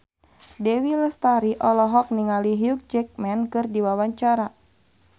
Dewi Lestari olohok ningali Hugh Jackman keur diwawancara